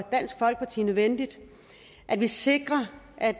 se nødvendigt at vi sikrer at